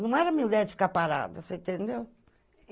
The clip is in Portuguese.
Não era mulher de ficar parada, você entendeu?